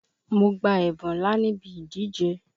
Mo gba ẹ̀bún ńlá níbi ìdíje.